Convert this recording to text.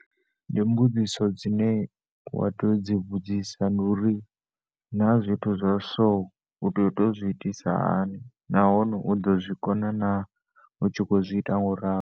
Ndi mbudziso dzine wa tea udzi vhudzisa nori naa zwithu zwa so uto tea uzwi itisa hani nahone u ḓo zwikona na u tshi kho zwi ita ngoralo.